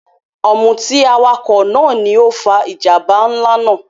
Ọ̀mútì awakọ naà ni o fà ijambà nlá náà